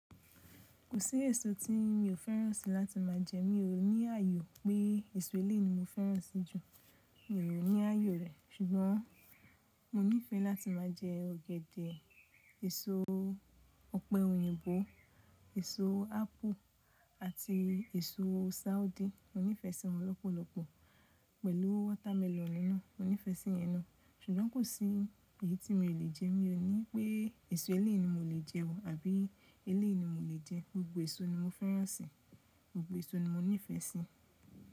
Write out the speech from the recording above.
Kò sí èso tí mi ò fẹ́ràn sí láti má a jẹ. Mi ò ní àye pé èso eléèyi ni mo fẹ́ràn sí jù. Mi ò ní àyo rẹ̀. Ṣùgbọ́n mo nífẹ̀ẹ́ láti má a jẹ ọ̀gẹ̀dẹ̀, èso ọ̀pẹ òyìnbó, èso ápù àti èso sáudi. Mo nífẹ̀ẹ́ sí wọ́n lọ́pọ̀lọ́pọ̀ pẹ̀lú watermelon no Mo nífẹ̀ẹ́ sí yen no Ṣùgbọ́n kò sí èyí tí mio lè jẹ. Mi ò ní pé èso eléèyi mio lè jẹ ọ̀ àbí eléèyi mo lè jẹ. Gbogbo èso ni mo fẹ́ràn sí. Gbogbo èso ni mo nífẹ̀ẹ́ sí.